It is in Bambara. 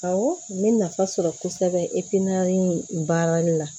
Awɔ n bɛ nafa sɔrɔ kosɛbɛ baara la